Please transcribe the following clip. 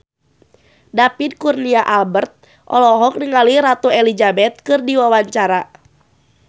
David Kurnia Albert olohok ningali Ratu Elizabeth keur diwawancara